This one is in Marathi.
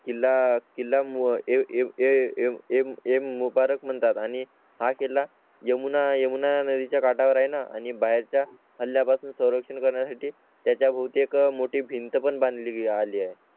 किला किला म्हणजे एम मुबारक म्हणतात आणि हाके ला यमुना येऊन आद्री च्या काठावर आहे ना आणि बाहेरच्या झाल्या पासून संरक्षण करण्यासाठी त्या भोवती एक मोठी भिंत पण बांधली आली आहे.